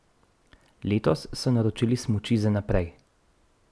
Letos so naročili smuči za naprej.